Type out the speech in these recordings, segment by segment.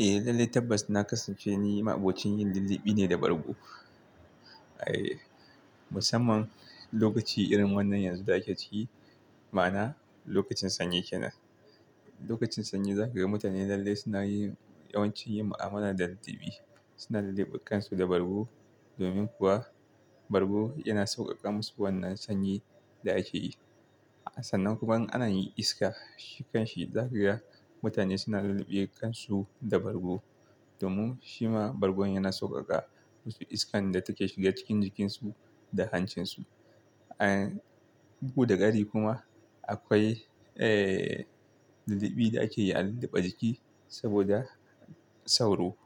Eh, lalle tabbas na kasance ni ma abokin yin lillibi ne da bargo. Eh, musamman lokaci irin wannan yanzu da ake ciki, ma'ana lokacin sanyi kenan. Lokacin sanyi za ka ga mutane lalle suna yin yawanci yin ma'amalar da lallibi. Suna lullube kansu da bargo, domin kuwa bargo yana sauƙaƙa musu wannan sanyi da ake yi. Sannan kuma in an yi iska, shi kan shi, za ka ga mutane suna lullube kansu da bargo, domin shi ma bargo yana sauƙaƙa musu iskan da take shiga cikin jikinsu da hancinsu. An, bugu da ƙari kuma akwai, eh, lilli bi da ake yi a lullube jiki saboda sauro.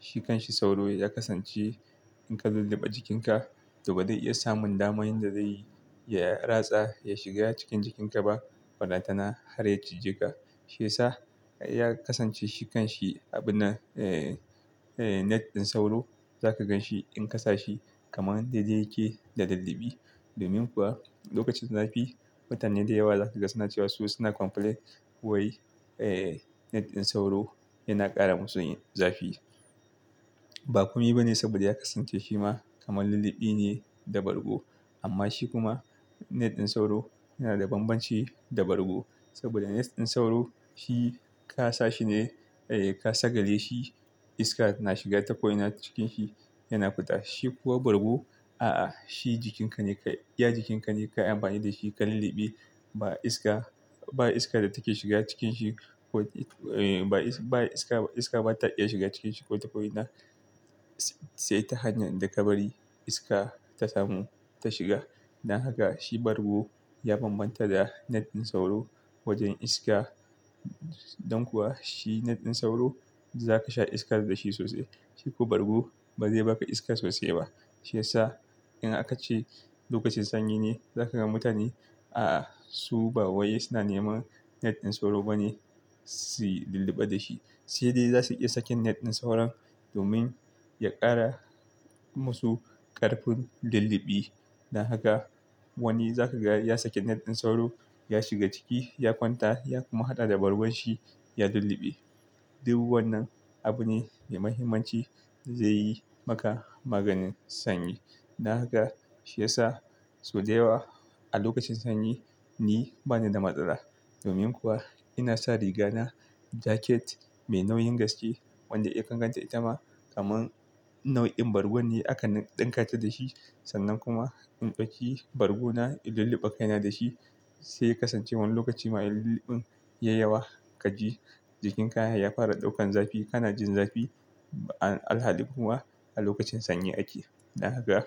Shi kan shi sauro ya kasance in ka lullube jikinka, to bazai iya samun daman inda zai, ya ratsa ya shiga cikin jikinka ba, ballantana har ya cije ka. Shiya sa, ya kasance shi kan shi abun na, eh, net ɗin sauro, za ka gan shi in ka sa shi kaman daidai yake da lilli bi. Domin kuwa lokacin zafi mutane da yawa za ka ga suna cewa su suna complain wai, eh, net ɗin sauro yana ƙara masu yin zafi. Ba kome ba ne saboda ya kasance shi ma kamar lillibi ne da bargo. Amma shi kuma net ɗin sauro yana da banbanci da bargo. Saboda net ɗin sauro shi ka sa shi ne, eh, ka sagale shi iska na shiga ta ko ina cikin shi yana fita. Shi kuwa bargu a'a, shi jikinka ne ka, ya jikinka ne ka amfani da shi ka lullube. Ba iska, ba iska da take shiga cikin shi ko, eh, ba iska, iska ba ta iya shiga cikin shi ko ta ko ina. Sai ta hanyar da ka bari iska ta samu ta shiga. Dan haka shi bargo ya bambanta da net ɗin sauro wajen iska. Don kuwa shi net ɗin sauro za ka sha iska da shi sosai. Shi kuwa bargu ba zai baka iska sosai ba. Shiya sa in aka ce lokacin sanyi ne, za ka ga mutane a'a su ba wai suna neman net ɗin sauro ba ne suyi lullube da shi. Sai dai za su iya sakin net ɗin sauro domin ya ƙara musu ƙarfin lullube. Dan haka wani za ka ga ya sake net ɗin sauro, ya shiga ciki ya kwanta ya kuma haɗa da bargun shi ya lullube. Duk wannan abu ne mai mahimmanci zai yi maka maganin sanyi. Dan haka shiyasa, sau daya wa a lokacin sanyi ni bani da matsala. Domin kuwa ina sa riga na jaket mai nauyin gaske wanda ya kan ganta itama kaman nau'in bargu ne aka ɗinkace da shi. Sannan kuma in ɗauki bargo na in lullube kaina da shi. Saiya kasance wannan lokaci ma in lullube yayawa ka ji jikinka ya fara ɗaukan zafi. Kana jin zafi a alhali kuma a lokacin sanyi ake. Dan haka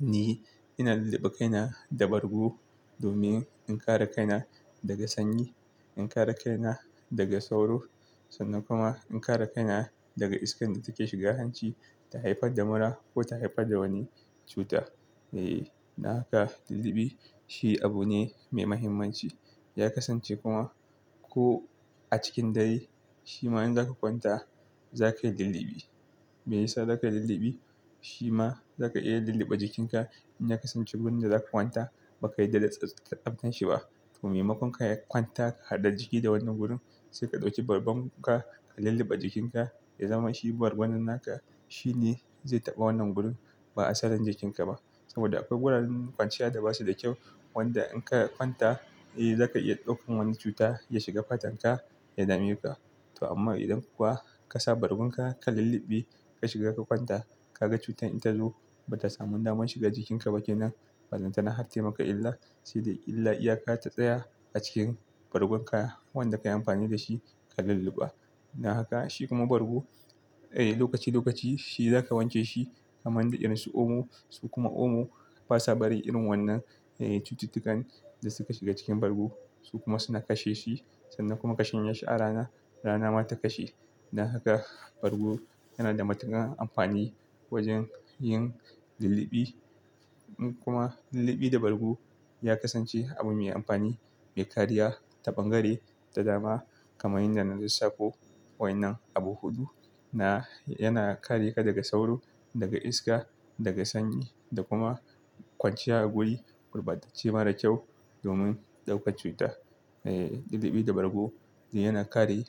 ni ina lullube kaina da bargo domin in kare kaina daga sanyi, in kare kaina daga sauro sannan kuma in kare kaina daga iskan da take shiga hanci ta haifar da mura ko ta haifar da wani cuta. Eh, dab haka lullube shi abu ne mai mahimmanci. Ya kasance kuma ko a cikin dare, shi ma in za ka kwanta za ka yi lullube. Me yasa za ka yi lullube? Shi ma za ka iya lullube jikinka in ya kasance wurin da za ka kwanta ba ka yarda da tsaftance shi ba. To maimakon ka kwanta ka haɗe jiki da wannan wurin, sai ka ɗauki bargun ka ka lullube jikinka. Ya zama shi bargon nan naka, shi ne zai taɓa wannan wurin ba asalin jikinka ba. Saboda akwai wuraren kwanciya da basu da kyau, wanda in ka kwanta eh za ka iya ɗaukan wani cuta ya shiga fatan ka ya dame ka. To amma idan kuwa ka sa bargun ka, ka lullube, ka shiga ka kwanta, ka ga cutar in ta zo ba ta samun daman shiga jikinka ba kenan. Ballantana har taimaka illa sai dai illa iya ka ta tsaya a cikin bargun ka wanda ka yi amfani da shi ka lullube. Dan haka shi kuma bargu, eh lokaci lokaci shi za ka wanke shi kaman da irin su omo. Su kuma omo basa bari irin wannan, eh cututtukan da suka shiga cikin bargu su kuma suna kashe shi. Sannan kuma kashan ya sha rana, rana ma ta kashe. Dan haka bargu yana da matukar amfani wajen yin lullube. Kuma lullube da bargu ya kasance abu mai amfani, mai kariya, ta bangare, ta dama kamar yadda na lissafo wai nan abu huɗu. Na yana kare ka daga sauro, daga iska, daga sanyi da kuma kwanciya a wuri gurbatacce mara kyau domin ɗaukan cuta. Eh, lullube da bargu yana kare.